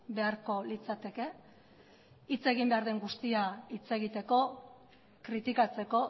beharko litzateke hitz egin behar den guztia hitz egiteko kritikatzeko